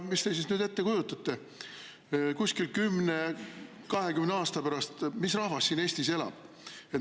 Kuidas te ette kujutate, mis rahvas siin Eestis elab kuskil 10–20 aasta pärast?